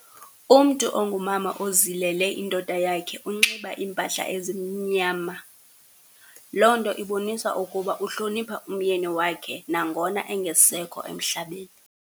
Umntu ongumama ozilele indoda yakhe unxiba iimpahla ezimnyama. Loo nto ibonisa ukuba uhlonipha umyeni yakhe nangona engasekho emhlabeni.